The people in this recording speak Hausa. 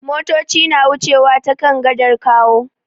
Motoci na wucewa ta kan gadar Kawo.